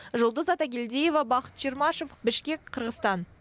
жұлдыз атагелдиева бақыт чермашев бішкек қырғызстан